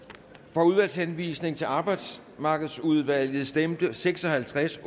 for udvalgshenvisning til arbejdsmarkedsudvalget stemte seks og halvtreds